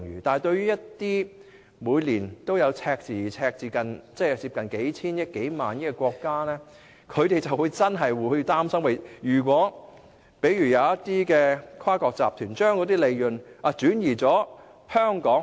但是，對於一些每年也出現赤字，而赤字接近數千億元或數萬億元的國家，便真的會擔心一些跨國集團會把利潤轉移往香港。